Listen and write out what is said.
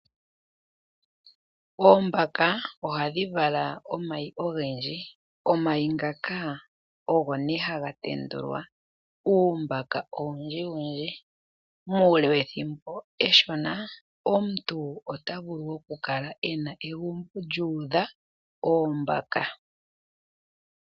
Oombaka ohadhi vala omayi ogendji omayi ngaka ogo ne haga tendulwa uumbaka owundji wundji mule wethimbo eshona omuntu otavulu okukala ena egumbo lyuudha oombaka.